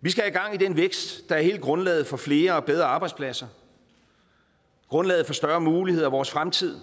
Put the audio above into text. vi skal have gang i den vækst der er hele grundlaget for flere og bedre arbejdspladser grundlaget for større muligheder i vores fremtid